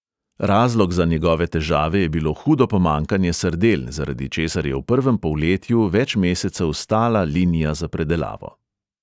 Razlog za njegove težave je bilo hudo pomanjkanje sardel, zaradi česar je v prvem polletju več mesecev stala linija za predelavo.